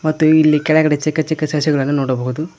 ಮತ್ತು ಇಲ್ಲಿ ಕೆಳಗಡೆ ಚಿಕ್ಕ ಚಿಕ್ಕ ಸಸಿಗಳನ್ನು ನೋಡಬಹುದು